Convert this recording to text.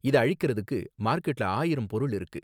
இத அழிக்கறதுக்கு மார்க்கெட்ல ஆயிரம் பொருள் இருக்கு